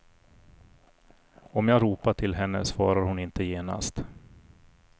Om jag ropar till henne svarar hon inte genast.